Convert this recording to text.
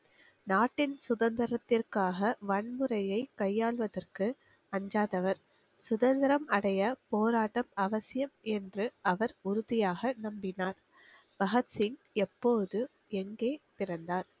நாட்டின் சுதந்திரத்திற்காக வன்முறையை கையாள்வதற்கு அஞ்சாதவர் சுதந்திரம் அடைய போராட்டம் அவசியம் என்று அவர் உறுதியாக நம்பினார் பகத்சிங் எப்போது எங்கே பிறந்தார்